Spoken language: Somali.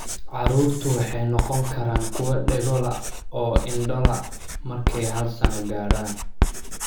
Carruurtu waxay noqon karaan kuwo dhego la' oo indho la' markay hal sano gaaraan.